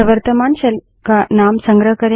यह वर्त्तमान शेल का नाम संग्रह करेगा